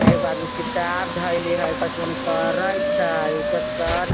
एगो आदमी किताब धइले हई कतई करत छई उजर शर्ट --